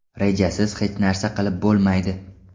Rejasiz hech narsa qilib bo‘lmaydi.